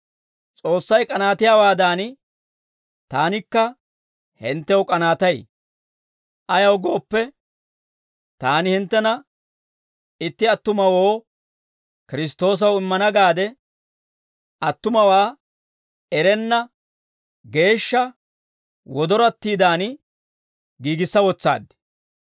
S'oossay k'anaattiyaawaadan, taanikka hinttew k'anaatay; ayaw gooppe, taani hinttena itti attumawoo, Kiristtoosaw immana gaade, attumawaa erenna geeshsha wodorattiidan giigissa wotsaad.